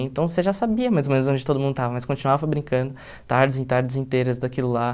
Então você já sabia mais ou menos onde todo mundo estava, mas continuava brincando tardes e tardes inteiras daquilo lá.